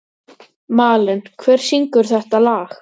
Malen, hver syngur þetta lag?